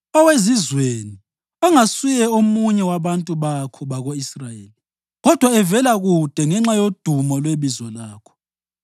Owezizweni ongasuye omunye wabantu bakho bako-Israyeli kodwa evela kude ngenxa yodumo lwebizo lakho